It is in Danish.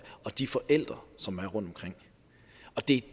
og de forældre som er rundtomkring det